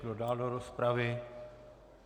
Kdo dál do rozpravy?